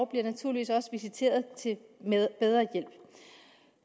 bliver naturligvis også visiteret til bedre hjælp